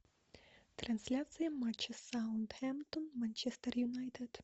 трансляция матча саутгемптон манчестер юнайтед